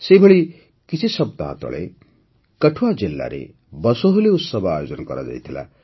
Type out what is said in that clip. ସେହିପରି କିଛି ସପ୍ତାହ ତଳେ କଠୁଆ ଜିଲ୍ଲାରେ ବସୋହଲି ଉତ୍ସବ ଆୟୋଜିତ ହୋଇଥିଲା